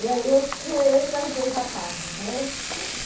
E aí eu tinha eu e mais dois rapazes, né?